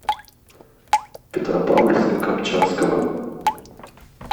петропавловска камчатского